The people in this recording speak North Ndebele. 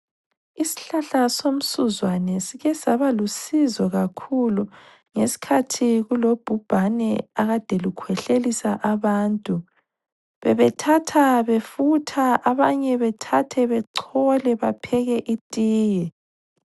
Isihlahla somsuzwane sike saba lusizo kakhulu ngesikhathi kulobhubhane akade lukhwehlelisa abantu . Bebethatha befutha abanye bethathe bechole bapheke itiye .